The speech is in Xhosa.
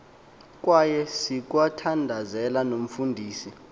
kwaye sikwathandazela nomfundisi